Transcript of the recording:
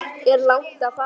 Er langt að fara?